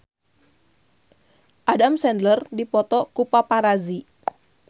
Adam Sandler dipoto ku paparazi